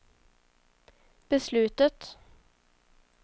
beslutet